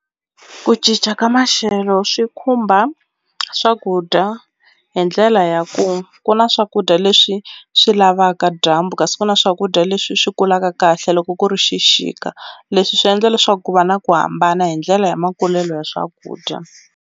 Ku cinca ka maxelo swi khumba swakudya hi ndlela ya ku ku na swakudya leswi swi lavaka dyambu kasi ku na swakudya leswi swi kulaka kahle loko ku ri xixika leswi swi endla leswaku ku va na ku hambana hi ndlela ya makulelo ya swakudya.